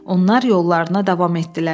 Onlar yollarına davam etdilər.